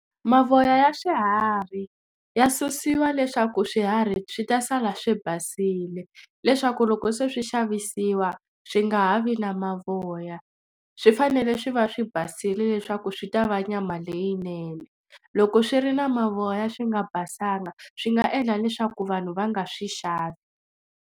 Mavoya ya swiharhi ya susiwa leswaku swiharhi swi ta sala swi basile leswaku loko se swi xavisiwa swi nga ha vi na mavoya swi fanele swi va swi basile leswaku swi ta va nyama leyinene loko swi ri na mavoya swi nga basanga swi nga endla leswaku vanhu va nga swi xava.